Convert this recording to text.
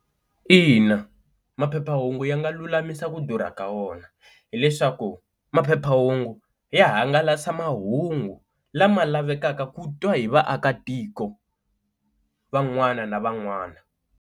Ina maphephahungu ya nga lulamisa ku durha ka wona hileswaku maphephahungu ya hangalasa mahungu lama lavekaka ku twa hi vaakatiko van'wana na van'wana.